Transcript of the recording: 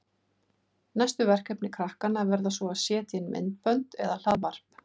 Næstu verkefni krakkanna verða svo að setja inn myndbönd eða hlaðvarp.